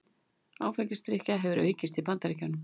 Áfengisdrykkja hefur aukist í Bandaríkjunum